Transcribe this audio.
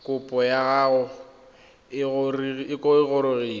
kopo ya gago e gorogile